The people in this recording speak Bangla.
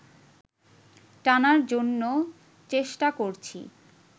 টানার জন্য চষ্টো করছি